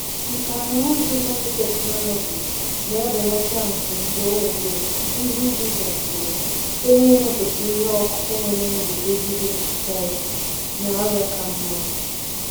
Nkà na ụzụ biotechnology na-ebelata mfu mgbe owuwe ihe ubi gasịrị site n’ịmepụta ihe ọkụkụ nwere nguzogide pesti na ọrịa ka mma.